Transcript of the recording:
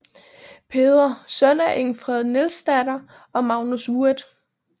Peder søn af Ingfred Nielsdatter og Magnus Wuet